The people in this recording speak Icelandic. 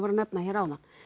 nefndi hér áðan